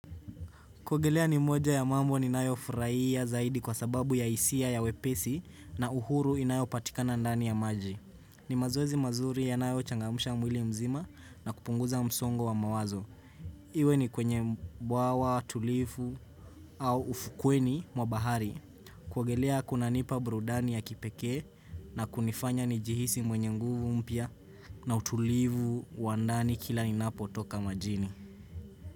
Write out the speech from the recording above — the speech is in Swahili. Kuguolea ni moja ya mambo ninayo furahia zaidi kwa sababu ya hisia ya wepesi na uhuru inayopatika na ndani ya maji. Ni mazoezi mazuri yanayo changamusha mwili mzima na kupunguza msongo wa mawazo. Iwe ni kwenye bwaw, tulifu au ufukweni mwa bahari. Kuogelea kunanipa burudani ya kipekee na kunifanya ni jihisi mwenye nguvu mpya na utulifu wa ndani kila inapo toka majini.